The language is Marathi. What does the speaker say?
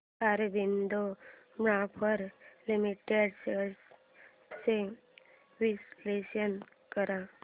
ऑरबिंदो फार्मा लिमिटेड शेअर्स चे विश्लेषण कर